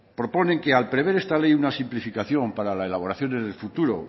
proponen que al prever esta ley una simplificación para la elaboración en el futuro